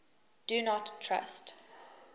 do not trust